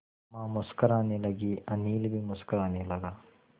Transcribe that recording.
अम्मा मुस्कराने लगीं अनिल भी मुस्कराने लगा